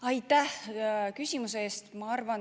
Aitäh küsimuse eest!